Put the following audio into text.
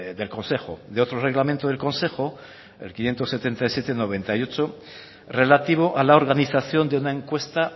del consejo de otro reglamento del consejo el quinientos setenta y siete barra noventa y ocho relativo a la organización de una encuesta